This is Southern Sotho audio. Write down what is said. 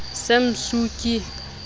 san suu kyi